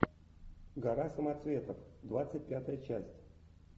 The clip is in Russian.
гора самоцветов двадцать пятая часть